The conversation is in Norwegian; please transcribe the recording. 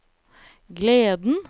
gleden